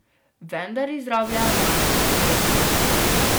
Vendar izrablja našo raztresenost.